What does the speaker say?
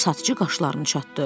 Satıcı başlarını çatdı.